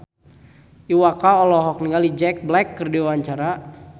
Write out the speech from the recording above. Iwa K olohok ningali Jack Black keur diwawancara